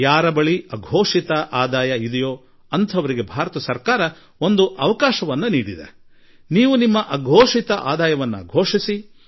ಯಾರ ಬಳಿ ಅಘೋಷಿತ ಆದಾಯ ಇದೆಯೋ ಅವರು ಈ ಆದಾಯವನ್ನು ಘೋಷಿಸಿಕೊಂಡು ಬಿಡಲಿ ಎಂದು ಭಾರತ ಸರ್ಕಾರ ಅವರಿಗೆ ಒಂದು ಅವಕಾಶ ಒದಗಿಸಿದೆ